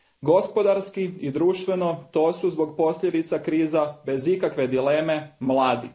Gospodarski i društveno, to su zbog posljedica krize bez ikakve dileme mladi.